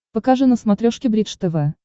покажи на смотрешке бридж тв